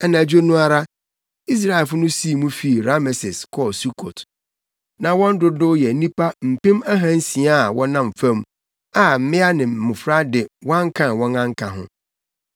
Anadwo no ara, Israelfo no sii mu fii Rameses kɔɔ Sukot. Na wɔn dodow yɛ nnipa mpem ahansia a wɔnam fam, a mmea ne mmofra de wɔankan wɔn anka ho.